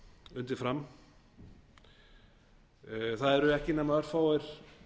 undið fram það eru ekki nema örfáir